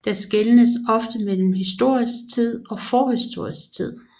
Der skelnes ofte mellem historisk tid og forhistorisk tid